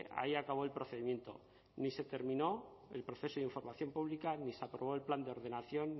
ahí acabó el procedimiento ni se terminó el proceso de información pública ni se aprobó el plan de ordenación